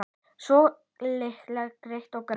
Svona líka gretta og gráa.